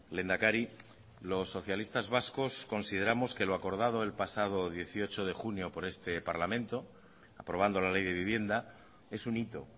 lehendakari los socialistas vascos consideramos que lo acordado el pasado dieciocho de junio por este parlamento aprobando la ley de vivienda es un hito